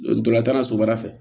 Ntolan tan na sobara fɛ